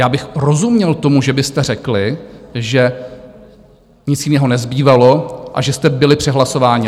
Já bych rozuměl tomu, že byste řekli, že nic jiného nezbývalo a že jste byli přehlasováni.